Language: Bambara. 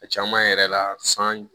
A caman yɛrɛ la san